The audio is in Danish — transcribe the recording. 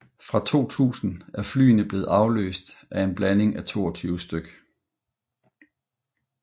Fra 2000 er flyene blevet afløst af en blanding af 22 stk